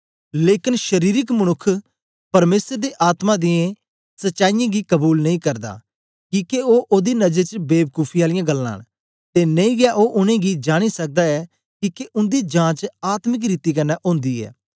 लेकन शरीरक मनुक्ख परमेसर दे आत्मा दियें सचाई गी कबूल नेई करदा किके ओ ओदी नजर च बेबकूफ आलियां गल्लां न ते नेई गै ओ उनेंगी जांनी सकदा ऐ किके उन्दी जांच आत्मिक रीति कन्ने ओंदी ऐ